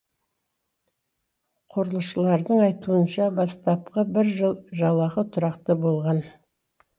құрылысшылардың айтуынша бастапқы бір жыл жалақы тұрақты болған